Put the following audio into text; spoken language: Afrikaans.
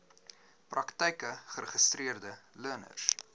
praktyke geregistreede leners